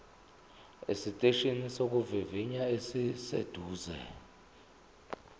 esiteshini sokuvivinya esiseduze